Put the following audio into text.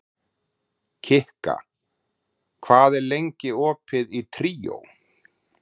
Kikka, hvað er lengi opið í Tríó?